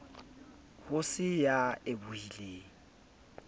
ho se ya e bohileng